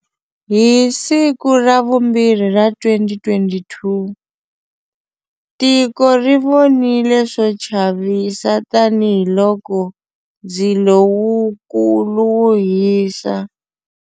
Hi siku ra vumbirhi ra 2022, tiko ri vonile swo chavisa tanihiloko ndzilo wukulu wu hisa.